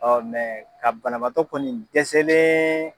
ka banabatɔ kɔni dɛsɛlen